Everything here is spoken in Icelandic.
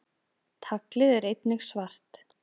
Taglið er einnig svart.